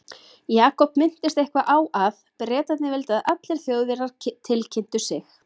Jakob minntist eitthvað á að Bretarnir vildu að allir Þjóðverjar tilkynntu sig.